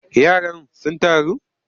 Yaran sun taru?